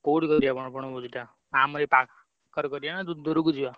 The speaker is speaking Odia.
କୋଉଠି କରିଆ ବଣ ବଣଭୋଜି ଟା ଆମରେ ଏଇ ~ପା ~ଖରେ କରିଆ ନା ~ଦୂ ଦୁରୁକୁ ଯିବା?